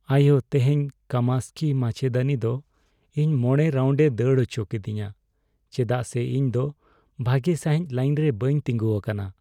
ᱟᱭᱳ, ᱛᱮᱦᱮᱧ ᱠᱟᱢᱟᱠᱥᱦᱤ ᱢᱟᱪᱮᱫᱟᱹᱱᱤ ᱫᱚ ᱤᱧ ᱕ ᱨᱟᱣᱩᱱᱰ ᱮ ᱫᱟᱹᱲ ᱚᱪᱚᱠᱤᱫᱤᱧᱟ ᱪᱮᱫᱟᱜ ᱥᱮ ᱤᱧ ᱫᱚ ᱵᱷᱟᱜᱮ ᱥᱟᱹᱦᱤᱡ ᱞᱟᱭᱤᱱ ᱨᱮ ᱵᱟᱹᱧ ᱛᱤᱸᱜᱩ ᱟᱠᱟᱱᱟ ᱾